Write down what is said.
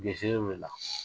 Gesere welela